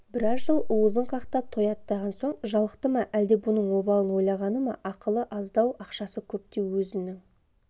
біраз жыл уызын қақтап тояттаған соң жалықты ма әлде бұның обалын ойлағаны ма ақылы аздау ақшасы көптеу өзнң